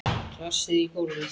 Glasið í gólfið.